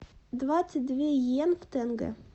двадцать две йен в тенге